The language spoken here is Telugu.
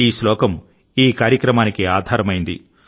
ఈ శ్లోకం ఈ కార్యక్రమానికి ఆధారమైంది